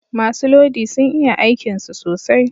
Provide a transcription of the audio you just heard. Masu lodi sun iya aikin su sosai